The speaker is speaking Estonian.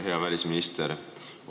Hea välisminister!